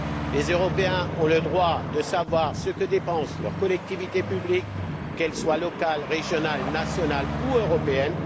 Les Européens ont le droit de savoir ce que dépensent leurs collectivités publiques, qu'elles soient locales, régionales, nationales ou européennes.